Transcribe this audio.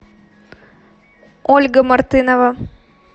ольга мартынова